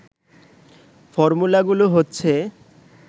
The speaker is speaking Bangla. ফর্মুলাগুলো হচ্ছে